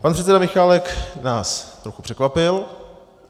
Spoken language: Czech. Pan předseda Michálek nás trochu překvapil.